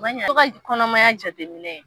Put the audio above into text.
Ka to ka kɔnɔmaya jateminɛ